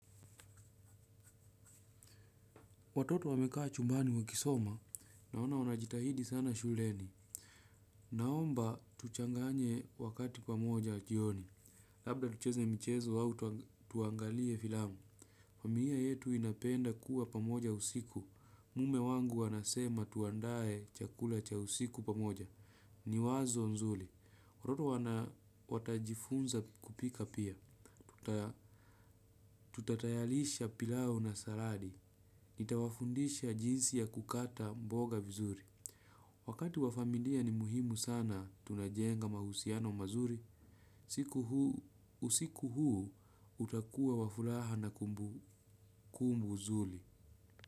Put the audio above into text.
Watoto wamekaa chumbani wakisoma. Naona wanajitahidi sana shuleni. Naomba tuchanganye wakati pamoja jioni. Labda tucheze mchezo au tuangalie filamu. Familia yetu inapenda kuwa pamoja usiku. Mume wangu anasema tuandaye chakula cha usiku pamoja. Ni wazo nzuli. Watoto wana watajifunza kupika pia. Tutatayalisha pilau na saradi. Nita wafundisha jinsi ya kukata mboga vizuri. Wakati wa familia ni muhimu sana tunajenga mahusiano mazuri. Usiku huu utakuwa wa furaha na kumbukumbu nzuri.